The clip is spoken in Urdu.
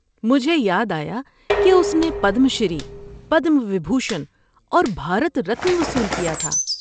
مجھے یاد آیا کہ اس نے پدم شری، پدما وبھوشن اور بھارت رتن وصول کیا تھا۔